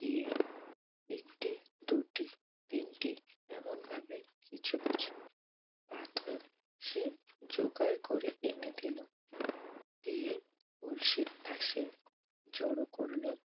গিয়ে একটি দুটি তিনটি এমন ভাবে কিছু কিছু পাথর সে যোগাড় করে এনে দিল। দিয়ে কলসির পাশে সে জড়ো করল।